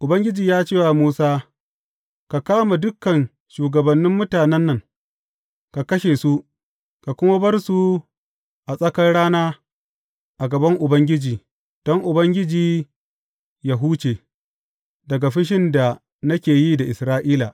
Ubangiji ya ce wa Musa, Ka kama dukan shugabannin mutanen nan, ka kashe su, ka kuma bar su a tsakar rana a gaban Ubangiji, don Ubangiji yă huce daga fushin da nake yi da Isra’ila.